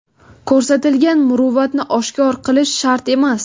Ko‘rsatilgan muruvvatni oshkor qilish shart emas.